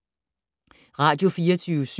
Radio24syv